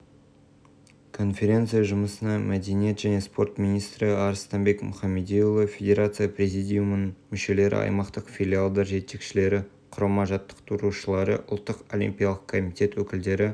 қазақстан республикасы президенті әкімшілігінің басшысы әділбек жақсыбеков еліміздің жеңіл атлетика федерациясының президенті болып сайланды деп хабарлады